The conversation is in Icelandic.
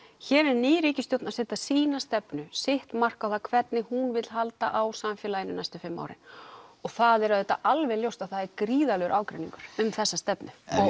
hér er ný ríkisstjórn að setja sína stefnu sitt mark á það hvernig hún vill halda á samfélaginu næstu fimm árin og það er auðvitað alveg ljóst að það er gríðarlegur ágreiningur um þessa stefnu